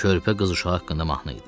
Körpə qız uşağı haqqında mahnı idi.